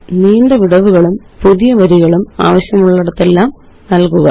നീണ്ട വിടവുകളും പുതിയ വരികളും ആവശ്യമായിടത്തെല്ലാം നല്കുക